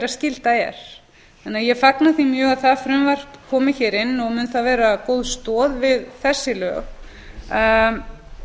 skylda er ég fagna því þess vegna mjög að það frumvarp komi hér inn og mun það vera góð stoð við þessi lög